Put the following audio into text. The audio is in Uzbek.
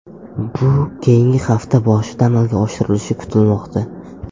Bu keyingi hafta boshida amalga oshirilishi kutilmoqda.